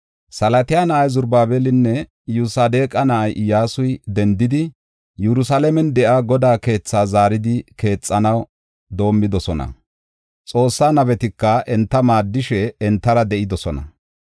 Salatiyaala na7ay Zarubaabelinne Iyosadeqa na7ay Iyyasuy dendidi, Yerusalaamen de7iya Godaa keethaa zaaridi keexanaw doomidosona. Xoossaa nabetika enta maaddishe entara de7idosona.